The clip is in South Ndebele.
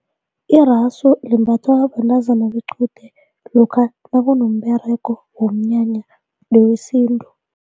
Irasu limbathwa bentazana bequde lokha nakunomberego womnyanya nowesintu.